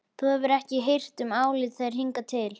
Þú hefur ekki hirt um álit þeirra hingað til.